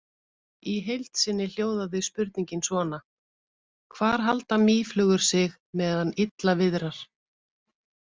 Í heild sinni hljóðaði spurningin svona: Hvar halda mýflugur sig meðan illa viðrar?